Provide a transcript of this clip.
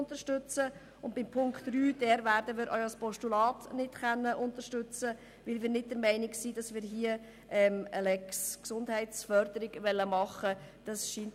Was den Punkt 3 betrifft, werden wir auch ein Postulat nicht unterstützen können, weil wir keine «Lex Gesundheitsförderung» einführen wollen;